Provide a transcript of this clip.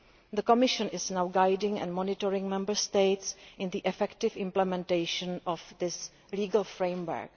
The Commission is now guiding and monitoring Member States in the effective implementation of this legal framework.